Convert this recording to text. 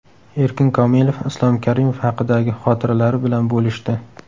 Erkin Komilov Islom Karimov haqidagi xotiralari bilan bo‘lishdi .